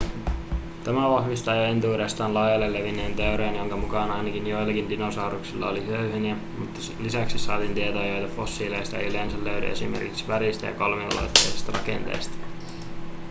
tämä vahvistaa jo entuudestaan laajalle levinneen teorian jonka mukaan ainakin joillain dinosauruksilla oli höyheniä mutta lisäksi saatiin tietoja joita fossiileista ei yleensä löydy esimerkiksi väristä ja kolmiulotteisesta rakenteesta